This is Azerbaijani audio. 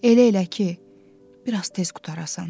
Elə elə ki, biraz tez qurtarasan.